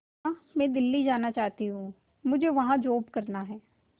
मां मैं दिल्ली जाना चाहते हूँ मुझे वहां जॉब करना है